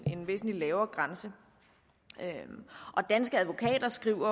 en væsentlig lavere grænse danske advokater skriver